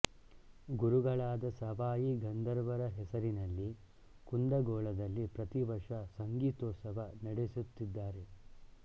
ಗುರುಗಳಾದ ಸವಾಯಿ ಗಂಧರ್ವರ ಹೆಸರಿನಲ್ಲಿ ಕುಂದಗೋಳದಲ್ಲಿ ಪ್ರತಿವರ್ಷ ಸಂಗೀತೋತ್ಸವ ನಡೆಸುತ್ತಿದ್ದಾರೆ